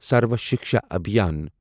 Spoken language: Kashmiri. سروا شِکشا ابھیان